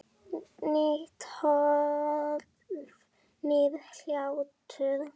Nýtt hólf- nýr hlátur